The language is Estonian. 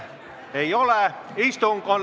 Istungi lõpp kell 15.35.